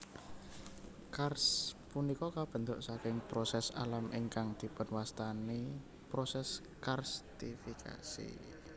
Karst punika kabentuk saking proses alam ingkang dipunwastani proses karstifikasi